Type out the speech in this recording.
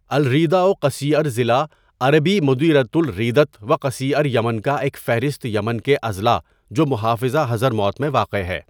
الریدہ و قصیعر ضلع عربی مديرية الريدة وقصيعر یمن کا ایک فہرست یمن کے اضلاع جو محافظہ حضرموت میں واقع ہے.